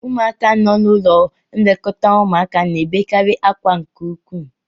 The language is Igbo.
Ụmụaka nọ n'ụlọ nlekọta ụmụaka na-ebekarị akwa nke ukwu